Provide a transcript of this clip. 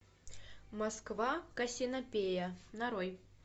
москва кассиопея нарой